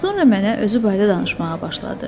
Sonra mənə özü barədə danışmağa başladı.